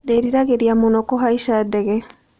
Ndĩriragĩria mũno kũhaica ndege.